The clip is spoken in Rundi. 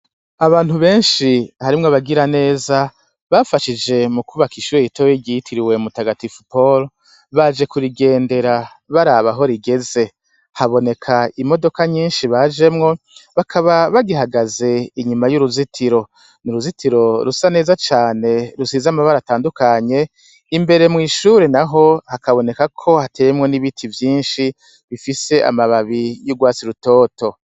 Abantu benshi harimw' abagira neza bafashije mu kubak' ishure ritoya ryitiriwe Mutagatifu Paul , baje kurigendera barab' aho rigeze, habonek' imodoka nyinshi bajemwo bakaba bagihagaz' inyuma y' uruzitiro; uruzitiro rusa neza cane rusiz' amabar' atandukanye, imbere y' ishure naho habonekako hateyemwo n' ibiti vyinshi bifis' amababi y' urwatsi rutoto.